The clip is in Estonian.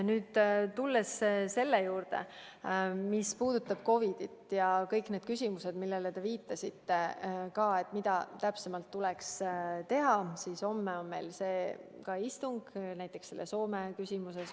Nüüd, tulles selle juurde, mis puudutab COVID-it ja teie küsimusi, mida täpsemalt tuleks teha, siis homme on meil istung näiteks selles Soome küsimuses.